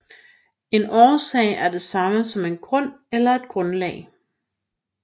En årsag er det samme som en grund eller et grundlag